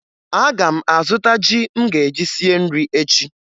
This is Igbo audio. Aga m azụta ji m ga-eji sie nri echi